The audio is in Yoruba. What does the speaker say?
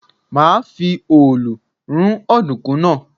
Màá fi òòlù rún ọ̀dùnkún náà.